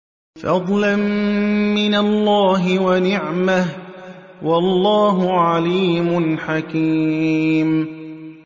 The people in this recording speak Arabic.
فَضْلًا مِّنَ اللَّهِ وَنِعْمَةً ۚ وَاللَّهُ عَلِيمٌ حَكِيمٌ